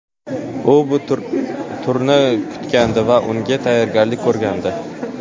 U bu turni kutgandi va unga tayyorgarlik ko‘rgandi.